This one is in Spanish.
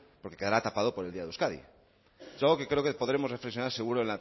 porque quedará tapado por el día de euskadi es algo que creo que podremos reflexión seguro